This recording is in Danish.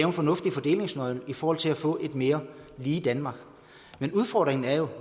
en fornuftig fordelingsnøgle i forhold til at få et mere lige danmark men udfordringen er jo